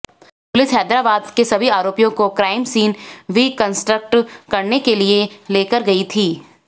police Hyderabad के सभी आरोपियों को क्राइम सीन रिकंस्ट्रक्ट करने के लिए लेकर गई थी